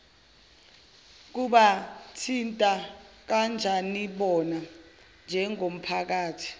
kubathinta kanjanibona njengomphakathi